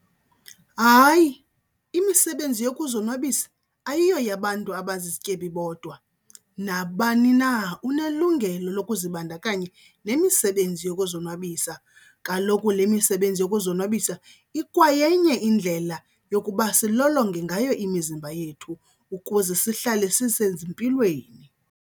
Hayi, imisebenzi yokuzonwabisa ayiyo yabantu abazizityebi bodwa, nabani na unelungelo lokuzibandakanya nemisebenzi yokuzonwabisa. Kaloku le misebenzi yokuzonwabisa ikwayenye indlela yokuba silolonge ngayo imizimba yethu ukuze sihlale sisezimpilweni.